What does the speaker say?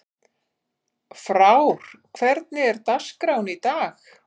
Frár, hvernig er dagskráin í dag?